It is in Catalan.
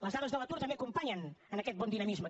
les dades de l’atur també acompanyen aquest bon dinamisme